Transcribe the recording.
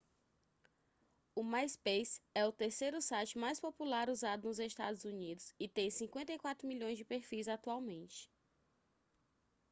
o myspace é o terceiro site mais popular usado nos estados unidos e tem 54 milhões de perfis atualmente